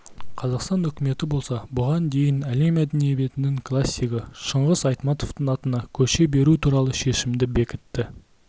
қазақстан үкіметі болса бұған дейін әлем әдебиетінің классигі шыңғыс айтматовтың атына көше беру туралы шешімді бекітті